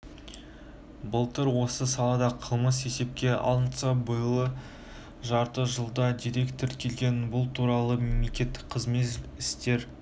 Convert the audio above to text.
былтыр осы салада қылмыс есепке алынса биылғы жарты жылда дерек тіркелген бұл туралы мемлекеттік қызмет істері